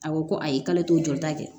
A ko ko ayi k'ale t'o jɔ ta kɛ